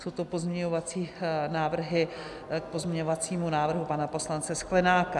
Jsou to pozměňovací návrhy k pozměňovacímu návrhu pana poslance Sklenáka.